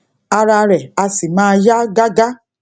ara rè á sì máa yá gágá